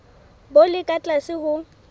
bo le ka tlase ho